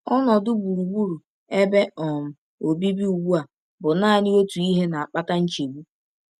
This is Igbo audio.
Ọnọdụ gburugburu ebe um obibi ugbu a bụ naanị otu ihe na-akpata nchegbu.